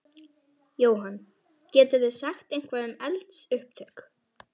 Jóhann: Getið þið sagt eitthvað um eldsupptök?